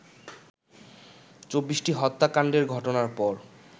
২৪টি হত্যাকাণ্ডের ঘটনার পর